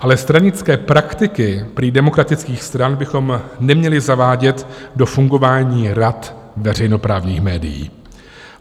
Ale stranické praktiky prý demokratických stran bychom neměli zavádět do fungování rad veřejnoprávních médií.